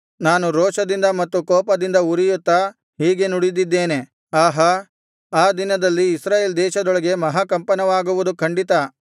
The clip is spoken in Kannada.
ನಾನು ರೋಷದಿಂದ ಮತ್ತು ಕೋಪದಿಂದ ಉರಿಯುತ್ತಾ ಹೀಗೆ ನುಡಿದಿದ್ದೇನೆ ಆಹಾ ಆ ದಿನದಲ್ಲಿ ಇಸ್ರಾಯೇಲ್ ದೇಶದೊಳಗೆ ಮಹಾಕಂಪನವಾಗುವುದು ಖಂಡಿತ